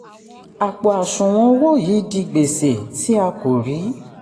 àpò àṣùwọ̀n owó yìí di gbèsè tí a kò rí.